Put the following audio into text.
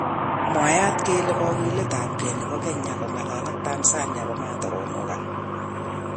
Mwaat kele kogiletabge nebo kenya ko'ngalal ak Tanzania komatakomukak